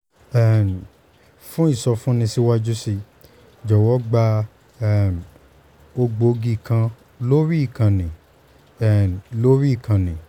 um fún ìsọfúnni síwájú sí i jọ̀wọ́ gba um ògbógi kan lórí ìkànnì um lórí ìkànnì